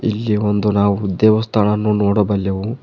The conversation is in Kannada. ಇಲ್ಲಿ ಒಂದು ನಾವು ದೇವಸ್ಥಾನವನ್ನು ನೋಡಬಲ್ಲೆವು.